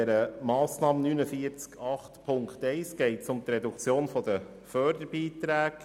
Bei der Massnahme 49.8.1 geht es um die Reduktion der Förderbeiträge.